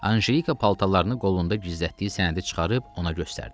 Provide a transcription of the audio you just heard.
Anjelika paltarlarının qolunda gizlətdiyi sənədi çıxarıb ona göstərdi.